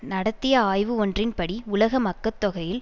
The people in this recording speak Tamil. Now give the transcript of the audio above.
நடத்திய ஆய்வு ஒன்றின்படி உலக மக்கட் தொகையில்